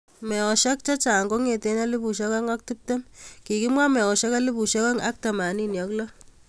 Meosiek chechang kongetei elipusiek oeng ak tiptem, kikimwa meosiek elipusiek oeng ak temanini ak lo